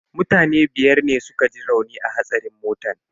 Mutane biyar ne suka ji rauni a hatsarin motan.